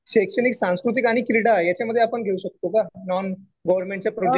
शैक्षणिक, सांस्कृतिक आणि क्रीडा याच्यामध्ये आपण घेऊ शकतो का? गव्हर्मेन्टचे प्रोजेक्ट